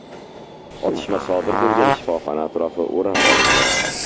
Otishma sodir bo‘lgan shifoxona atrofi o‘rab olingan.